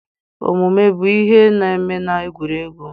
Omume bụ ihe na-eme na egwuregwu.